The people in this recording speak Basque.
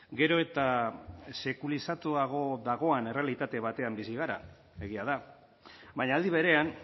gero eta sekulizatuago dagoen errealitate batean bizi gara egia da baina aldi berean